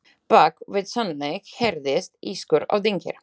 Bak við sönglið heyrðist ískur og dynkir.